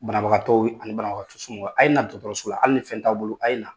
Banabagatɔw ani banabagatɔ somaw, a ye na dɔgɔtɔrɔso la hali ni fɛn t'aw bolo a ye na.